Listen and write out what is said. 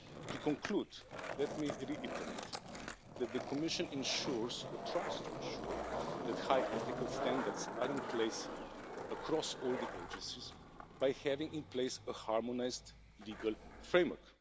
To conclude, let me reiterate that the Commission ensures or tries to ensure that high ethical standards are in place across all the agencies by having in place a harmonised legal framework.